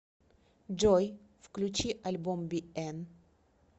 джой включи альбом биэн